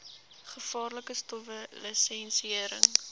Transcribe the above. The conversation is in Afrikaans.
gevaarlike stowwe lisensiëring